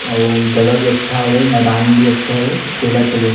अऊ जगह भी अच्छा हवे अउ मैदान भी अच्छा हवे खेलत हे लोग--